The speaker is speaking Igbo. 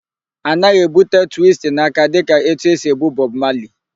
A naghị èbúte twistin aka dịka etu esi èbú Bọb Mali.